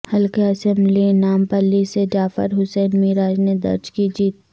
حلقہ اسمبلی نامپلی سے جعفر حسین معراج نے درج کی جیت